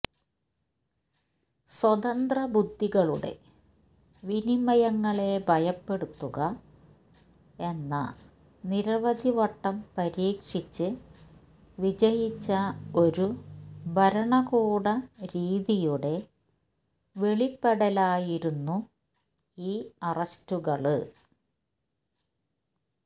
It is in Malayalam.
സ്വതന്ത്രബുദ്ധികളുടെ വിനിമയങ്ങളെ ഭയപ്പെടുത്തുക എന്ന നിരവധി വട്ടം പരീക്ഷിച്ച് വിജയിച്ച ഒരു ഭരണകൂട രീതിയുടെ വെളിപ്പെടലായിരുന്നു ഈ അറസ്റ്റുകള്